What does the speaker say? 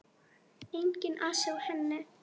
Enginn asi á henni.